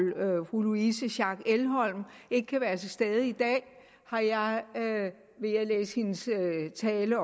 fru louise schack elholm ikke kan være til stede i dag vil jeg læse hendes tale